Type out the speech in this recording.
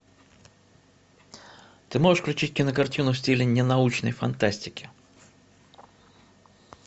ты можешь включить кинокартину в стиле ненаучной фантастики